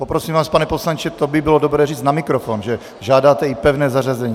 Poprosím vás, pane poslanče, to by bylo dobré říci na mikrofon, že žádáte i pevné zařazení.